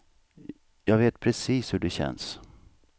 Jag vet precis hur det känns.